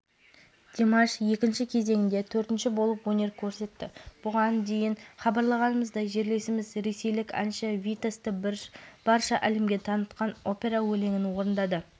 жерлесіміз димаш құдайбергенов бұл жолы да ерекше шеберлігімен баршаны таңғалдырып бұл кезеңнің бас жүлдесін қанжығасына байлады